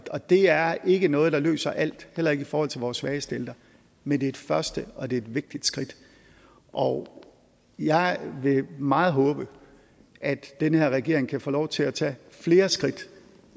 og det er ikke noget der løser alt heller ikke i forhold til vores svageste ældre men det er et første og det er et vigtigt skridt og jeg vil meget håbe at den her regering kan få lov til at tage flere skridt